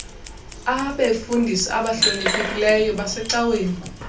abefundisi abahloniphekileyo basecaweni